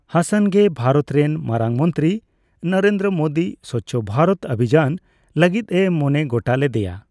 ᱦᱟᱥᱟᱱ ᱜᱮ ᱵᱷᱟᱨᱚᱛ ᱨᱮᱱ ᱢᱟᱨᱟᱝ ᱢᱚᱱᱛᱨᱤ ᱱᱚᱨᱮᱱᱫᱨᱚ ᱢᱳᱫᱤ ᱥᱚᱪᱷᱚ ᱵᱷᱟᱨᱚᱛ ᱚᱵᱷᱤᱡᱟᱱ ᱞᱟᱹᱜᱤᱫ ᱮ ᱢᱚᱱᱮ ᱜᱚᱴᱟ ᱞᱮᱫᱮᱭᱟ ᱾